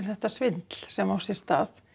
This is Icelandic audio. þetta svindl sem á sér stað